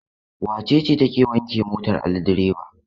Wace ce take wanke motar Ali direba?